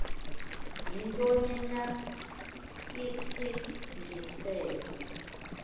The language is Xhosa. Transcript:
yintoni na intsingiselo